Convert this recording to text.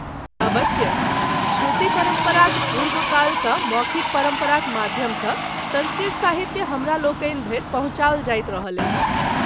अवश्य! श्रुति परम्पराक पूर्वकालसँ मौखिक परम्पराक माध्यमसँ सँस्कृत साहित्य हमरालोकनि धरि पहुँचाओल जाइत रहल अछि।